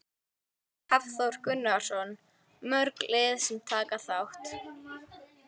Hafþór Gunnarsson: Mörg lið sem taka þátt?